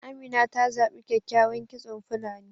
Amina ta zabi kyakykyawan kitson fulani